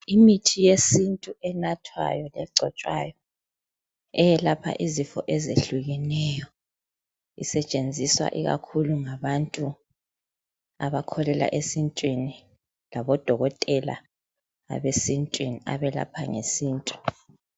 Imithi yesintu enathwayo kumbe egcotshwayo eyelapha izifo ezehlukeneyo isetshenziswa ikakhulu ngabantu abakholelwa esintwini labodokotela abesintwini abelapha ngesintu